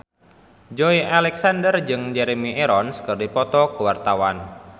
Joey Alexander jeung Jeremy Irons keur dipoto ku wartawan